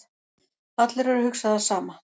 Allir eru að hugsa það sama